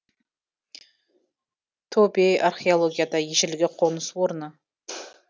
тобе археологияда ежелгі қоныс орны